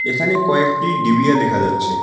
এখানে কয়েকটি ডিবিয়া দেখা যাচ্ছে।